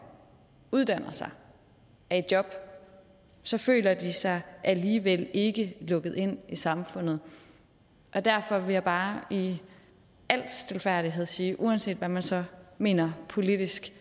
uddanner sig er i job så føler de sig alligevel ikke lukket ind i samfundet derfor vil jeg bare i al stilfærdighed sige uanset hvad man så mener politisk